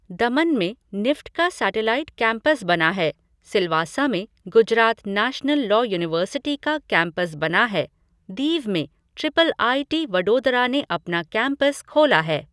दमन में निफ़्ट का satellite campus बना है, सिलवासा में गुजरात नैशनल लॉ यूनिवर्सिटी का कैंपस बना है, दीव में ट्रिपल आईटी वडोदरा ने अपना कैंपस खोला है।